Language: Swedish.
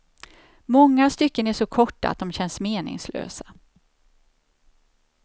Många stycken är så korta att de känns meningslösa.